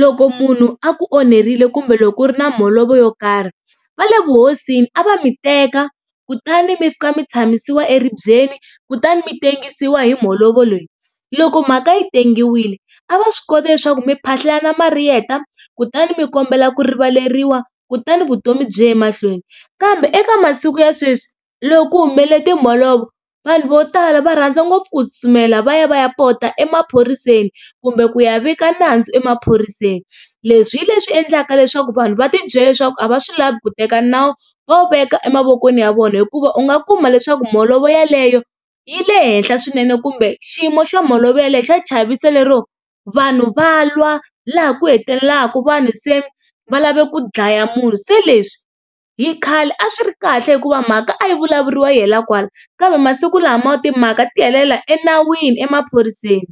loko munhu a ku onherile kumbe loko ku ri na mholovo yo karhi vale vuhosini a va mi teka kutani mi fika mi tshamisiwa eribyeni kutani mi tengisiwa hi mholovo leyi. Loko mhaka yi tengiwile a va swi kota leswaku mi kutani mi kombela ku rivaleriwa kutani vutomi byi ya emahlweni. Kambe eka masiku ya sweswi loko ku humelele timholovo vanhu vo tala va rhandza ngopfu ku tsutsumela va ya va ya pota emaphoriseni kumbe ku ya vika nandzu emaphoriseni leswi hi leswi endlaka leswaku vanhu va ti byela leswaku a va swi lava ku teka nawu va wu veka emavokweni ya vona hikuva u nga kuma leswaku mbolovo yeleyo yi le henhla swinene kumbe xiyimo xa mholovo yeleyo xa chavisa lero vanhu va lwa laha ku hetelelaka vanhu se va lava ku dlaya munhu se leswi hi khale a swi ri kahle hikuva mhaka a yi vulavuriwa yi hela kwala kambe masiku lama timhaka ti helela enawini emaphoriseni.